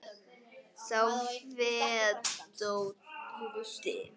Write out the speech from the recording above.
sá fetótti